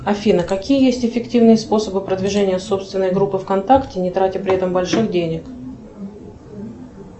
афина какие есть эффективные способы продвижения собственной группы вконтакте не тратя при этом больших денег